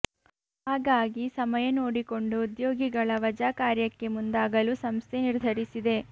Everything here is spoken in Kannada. ಹಾಗಾಗಿ ಸಮಯ ನೋಡಿಕೊಂಡು ಉದ್ಯೋಗಿಗಳ ವಜಾ ಕಾರ್ಯಕ್ಕೆ ಮುಂದಾಗಲು ಸಂಸ್ಥೆ ನಿರ್ಧರಿಸಿದೆ